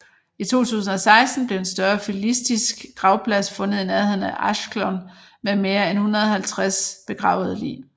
I 2016 blev en større filistisk gravplads fundet i nærheden af Ashkelon med mere en 150 begravede lig